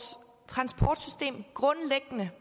transportsystem grundlæggende